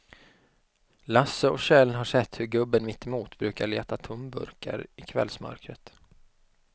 Lasse och Kjell har sett hur gubben mittemot brukar leta tomburkar i kvällsmörkret.